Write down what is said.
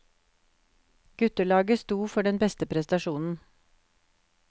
Guttelaget sto for den beste prestasjonen.